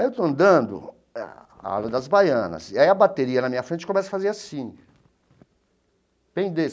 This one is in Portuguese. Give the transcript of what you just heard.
Aí eu estou andando a Ala das Baianas e a bateria na minha frente começa a fazer assim.